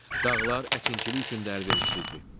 Dağlar əkinçilik üçün də əlverişsizdir.